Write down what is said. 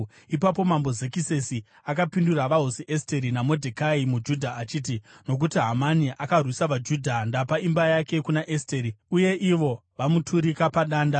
Ipapo Mambo Zekisesi akapindura vaHosi Esteri naModhekai muJudha achiti, “Nokuti Hamani akarwisa vaJudha, ndapa imba yake kuna Esteri, uye ivo vamuturika padanda.